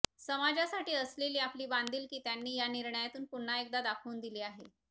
समाजासाठी असलेली आपली बांधीलकी त्यांनी या निर्णयातून पुन्हा एकदा दाखवून दिली आहे